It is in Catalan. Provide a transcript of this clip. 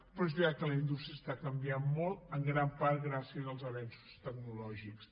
però és veritat que la indústria canvia molt en gran part gràcies als avenços tecnològics